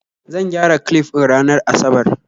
Zan gyara clif din ranar asabar